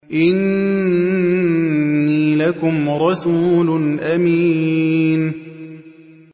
إِنِّي لَكُمْ رَسُولٌ أَمِينٌ